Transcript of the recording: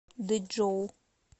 дэчжоу